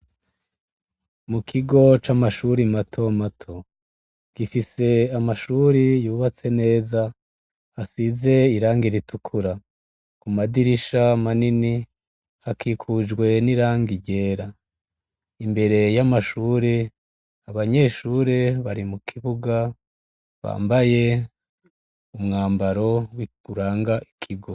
Mukigo c'Amashure matomato. Gifise Amashure yubatse neza, asize Irangi ritukura ,Amadirisha manini, akikujwe n'irangi ryera. Imbere y'Amashure, Abanyeshure, bari mukibuga, bambaye umwambaro uranga Ikigo.